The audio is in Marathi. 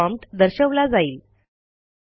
केवळ प्रॉम्प्ट दर्शवला जाईल